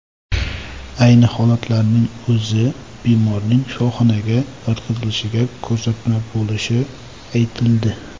Ayni holatlarning o‘zi bemorning shifoxonaga yotqizilishiga ko‘rsatma bo‘lishi aytildi.